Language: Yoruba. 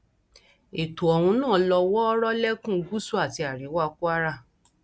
ètò ohun náà ló wọọrọ lẹkùn gúúsù àti àríwá kwara